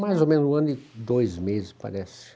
Mais ou menos um ano e dois meses, parece.